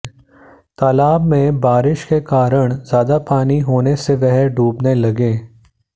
तालाब में बारिश के कारण ज्यादा पानी होने से वह डूबने लगे